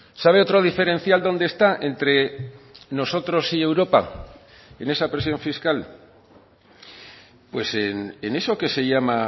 sabe otro diferencial dónde está entre nosotros y europa en esa presión fiscal pues en eso que se llama